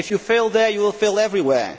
If you fail there, you will fail everywhere.